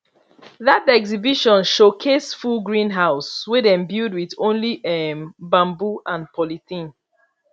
that exhibition showcase full greenhouse wey dem build with only um bamboo and polythene